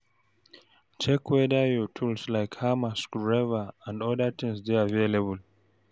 Check weda your tools like hammer, screw driver and oda things dey available